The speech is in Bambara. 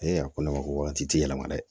a ko ne ma ko waati ti yɛlɛma dɛ